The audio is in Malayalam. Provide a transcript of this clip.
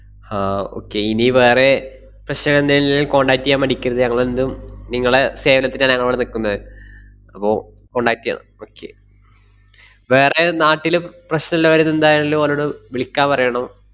ആഹ് okay ഇനി വേറെ പ്രശ്നമെണ്ടേല് contact ചെയ്യാൻ മടിക്കരുത്. ഞങ്ങളെന്തും, നിങ്ങളെ സേവനത്തിനാണ് ഞങ്ങളിവിടെ നിക്കുന്നത്. അപ്പൊ contact ചെയ്യണം okay വേറെ നാട്ടില് പ്~ പ്രശ്‌നിള്ളവര് എന്തായാലും ഓനോട്‌ വിളിക്കാൻ പറയണം.